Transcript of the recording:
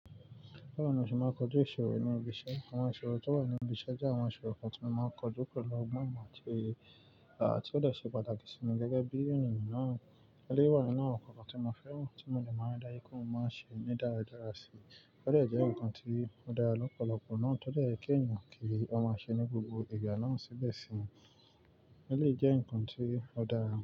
Bẹ́ẹ̀ni o, ṣe máa kojú ìṣorò ní ibi iṣẹ́. Àwọn ìṣorò tó wà ní ibi iṣẹ́ jẹ́ àwọn ìṣorò kan tí mo máa ń kọjú pẹ̀lú ọgbọn ìmọ àti òye, àti ó dẹ ṣe pàtàkì sí mi gẹ́gẹ́ bí ènìyàn náà. Eléyìí wáà nini awọn kọ̀ kan tí mo fẹ́ mọ̀, tí mo ní máa rí dájú pé mo máa ṣe ní dáradára sí. Ó dẹ jẹ́ ǹkan tí ó dára lọ́pọ̀lọpọ̀ náà, to jè kí ẹ̀yàn kí òun máa ṣe ní gbogbo ìgbà náà síbẹ̀ sì ń. Eléyìí jẹ́ ǹkan tí ó dára.